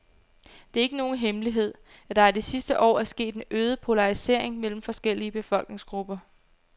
Det er ikke nogen hemmelighed, at der i de sidste år er sket en øget polarisering mellem forskellige befolkningsgrupper.